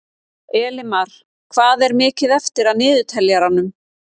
Elimar, hvað er mikið eftir af niðurteljaranum?